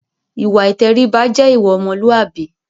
Ìwà ìtẹríba jẹ́ ìwà ọmọlúàbí.